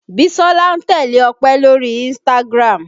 Bisola ń tẹ́lẹ̀ Ọpẹ lórí Instagram